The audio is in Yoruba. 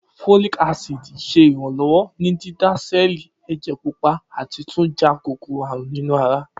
Folic acid ṣe iranlọwọ ni dida sẹẹli ẹjẹ pupa ati tun ja kokoro-arun ninu ara